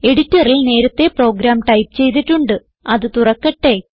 എഡിറ്ററിൽ നേരത്തേ program type ചെയ്തിട്ടുണ്ട് അത് തുറക്കട്ടെ